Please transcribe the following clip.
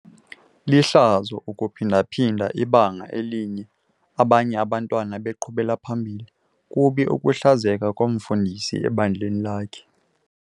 Lihlazo ukuphinda-phinda ibanga elinye abanye abantwana beqhubela phambili. kubi ukuhlazeka komfundisi ebandleni lakhe